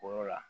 Koro la